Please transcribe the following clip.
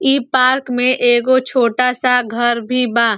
इ पार्क में एगो छोटा सा घर भी बा।